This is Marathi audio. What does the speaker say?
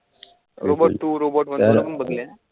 robot two robot one पण बघलायं